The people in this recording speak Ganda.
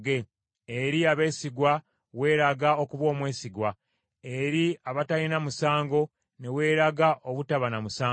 “Eri abeesigwa weeraga okuba omwesigwa; n’eri abatalina musango ne weeraga obutaba na musango;